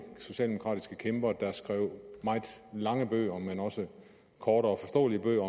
socialdemokratiske kæmper der skrev meget lange bøger men også korte og forståelige bøger